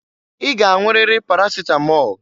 I g'anwụriri parasịtamọl!